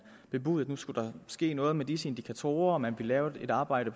bebudede at nu skulle der ske noget med disse indikatorer man ville lave et arbejde